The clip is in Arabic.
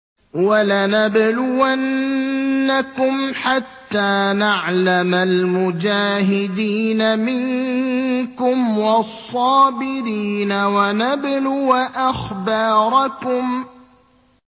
وَلَنَبْلُوَنَّكُمْ حَتَّىٰ نَعْلَمَ الْمُجَاهِدِينَ مِنكُمْ وَالصَّابِرِينَ وَنَبْلُوَ أَخْبَارَكُمْ